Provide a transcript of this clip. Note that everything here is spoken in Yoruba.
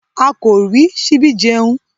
A kò rí síbi jẹun